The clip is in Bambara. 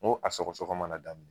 N ko a sɔgɔ sɔgɔ mana daminɛ.